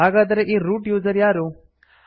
ಹಾಗಾದರೆ ಈ root user ಯಾರು